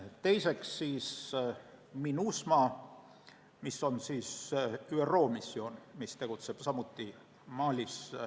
Teiseks, Minusma, mis on ÜRO missioon ja tegutseb samuti Malis.